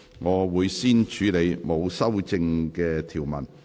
我會先處理沒有修正案的條文。